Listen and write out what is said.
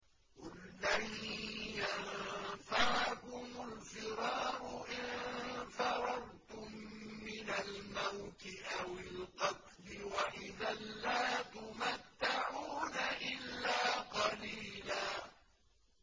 قُل لَّن يَنفَعَكُمُ الْفِرَارُ إِن فَرَرْتُم مِّنَ الْمَوْتِ أَوِ الْقَتْلِ وَإِذًا لَّا تُمَتَّعُونَ إِلَّا قَلِيلًا